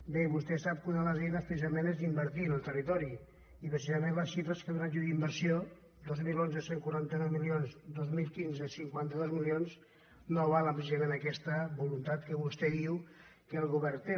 bé vostè sap que una de les eines precisament és invertir en el territori i precisament les xifres que he donat jo d’inversió dos mil onze cent i quaranta nou milions dos mil quinze cinquanta dos mi·lions no avalen precisament aquesta voluntat que vostè diu que el govern té